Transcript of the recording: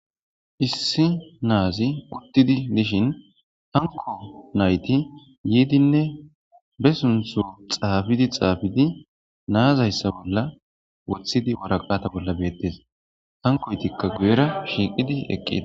issi naazi uttidi dishin hanko nayti yiidinne be suntho xaafidi xaafidi naazayssa bolla wothidi waraqata bolla beettes hankoytikka guyera shiiqidi eqqida